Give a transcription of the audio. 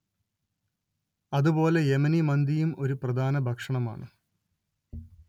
അത് പോലെ യെമനി മന്തിയും ഒരു പ്രധാന ഭക്ഷണമാണ്